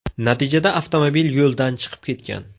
Natijada avtomobil yo‘ldan chiqib ketgan.